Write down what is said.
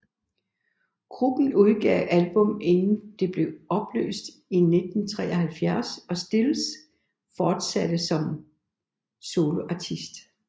Gruppen udgav to album inden den blev opløst i 1973 og Stills fortsatte som soloartist